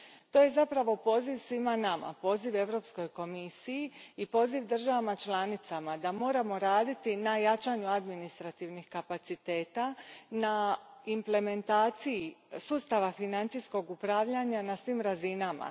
To je zapravo poziv svima nama, poziv Europskoj komisiji i poziv državama članicama da moramo raditi na jačanju administrativnih kapaciteta, na implementaciji sustava financijskog upravljanja na svim razinama.